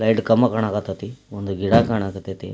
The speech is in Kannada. ಲೈಟ್ ಕಂಬ ಕಣಕತೆತಿ ಒಂದು ಗಿಡ ಕಣಕತೆತಿ.